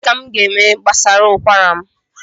Gịnị ka m gaeme gbasara ụkwara m?